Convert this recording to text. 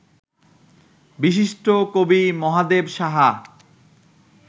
বিশিষ্ট কবি মহাদেব সাহা